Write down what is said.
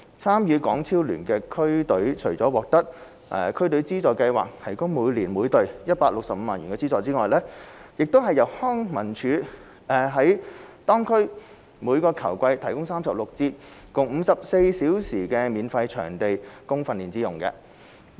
參與港超聯的區隊除了獲得區隊資助計劃提供每年每隊165萬元資助外，亦由康樂及文化事務署在當區每球季提供36節共54小時免費場地供訓練之用。